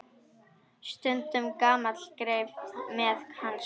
Stundum gamall greifi með hanska.